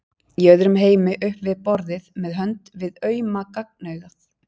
Í öðrum heimi upp við borðið með hönd við auma gagnaugað.